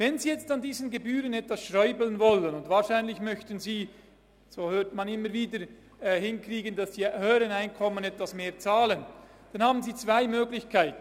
Wenn Sie nun an diesen Gebühren etwas rumschrauben wollen – wahrscheinlich wollen Sie, so hört man immer wieder, dass die höheren Einkommen etwas mehr zahlen –, dann gibt es dafür zwei Möglichkeiten.